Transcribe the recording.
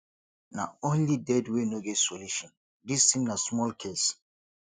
na only dead wey no get solution this thing na small case